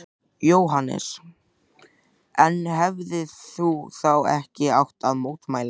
Jóhannes: En hefðir þú þá ekki átt að mótmæla?